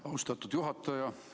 Austatud juhataja!